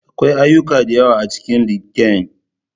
Akwai ayyuka da yawa a cikin LinkedIn.